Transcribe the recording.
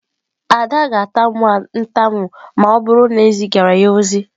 Ada ga-atamu ntamu ma o buru na ezigara ya ozi.